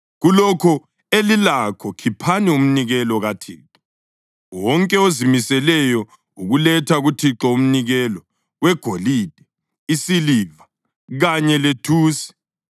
Kulokho elilakho khiphani umnikelo kaThixo. Wonke ozimiseleyo ukuletha kuThixo umnikelo: wegolide, isiliva kanye lethusi,